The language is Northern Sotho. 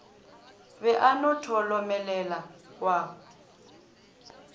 be a no tholomelela wa